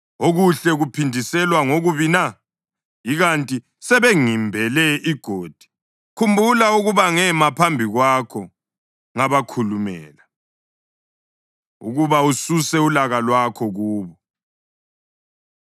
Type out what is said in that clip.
Okuhle kuphindiselwa ngokubi na? Ikanti sebengimbele igodi. Khumbula ukuba ngema phambi kwakho ngabakhulumela ukuba ususe ulaka lwakho kubo.